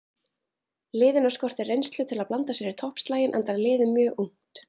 Liðinu skortir reynslu til að blanda sér í toppslaginn enda liðið mjög ungt.